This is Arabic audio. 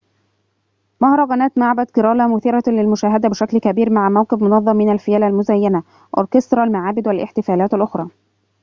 مهرجانات معبد كيرالا مثيرة للمشاهدة بشكل كبير مع موكب منظم من الفيلة المزينة أوركسترا المعابد والاحتفالات الأخرى